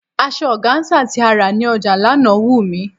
Asọ ọgáńsà tí a rí ní ọjà lánàá wù mí.